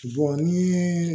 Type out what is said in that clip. ni